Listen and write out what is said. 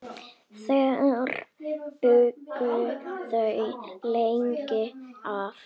Þar bjuggu þau lengst af.